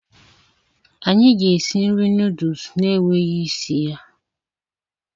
anyị ga-esi nri noodles na-enweghị isi ya.